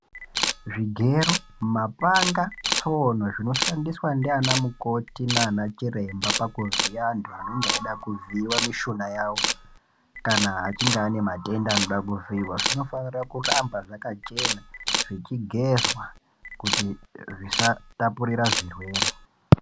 Zvigero ,mapanga, tsono zvinoshandiswa ndianamukoti naanachiremba pakuvhiya antu anonga eida kuvhiiwa mishuna yavo ,kana achinge ane matenda anoda kuvhiiwa, zvinofanira kuramba zvakachena, zvichigezwa, kuti zvisatapurira zvirwere.